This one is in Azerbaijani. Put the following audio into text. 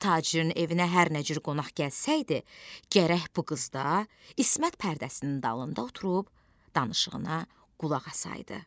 Tacirin evinə hər nə cür qonaq gəlsəydi, gərək bu qız da ismət pərdəsinin dalında oturub danışığına qulaq asaydı.